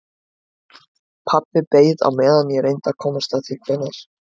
Pabbi beið á meðan ég reyndi að komast að því hvenær